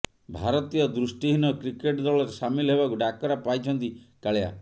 ଭାରତୀୟ ଦୃଷ୍ଟିହୀନ କ୍ରିକେଟ ଦଳରେ ସାମିଲ ହେବାକୁ ଡାକରା ପାଇଛନ୍ତି କାଳିଆ